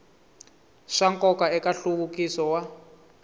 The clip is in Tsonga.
swa nkoka eka nhluvukiso wa